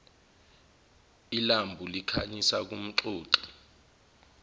ilambu likhanyisa kumxoxi